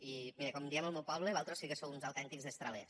i mira com diem al meu poble vosaltres sí que sou uns autèntics destralers